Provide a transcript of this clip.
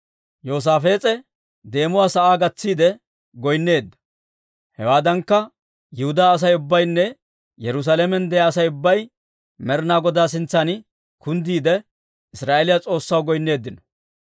Yoosaafees'e deemuwaa sa'aa gatsiide goynneedda; hewaaddankka, Yihudaa Asay ubbaynne Yerusaalamen de'iyaa Asay ubbay Med'inaa Godaa sintsan kunddiide, Israa'eeliyaa S'oossaw goynneeddino.